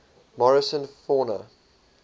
morrison fauna